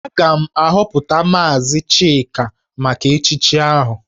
Aga m ahọpụta maazị Chika maka echichi ahụ